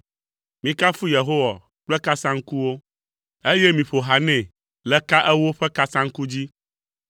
Mikafu Yehowa kple kasaŋkuwo, eye miƒo ha nɛ le ka ewo ƒe kasaŋku dzi.